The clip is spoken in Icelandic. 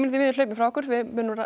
því miður hlaupinn frá okkur við munum